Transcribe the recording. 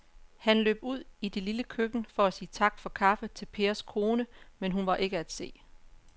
Han løb ud i det lille køkken for at sige tak for kaffe til Pers kone, men hun var ikke til at se.